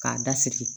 K'a da siri